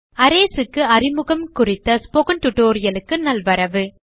Arrays க்கு அறிமுகம் குறித்த ஸ்போக்கன் tutorial க்கு நல்வரவு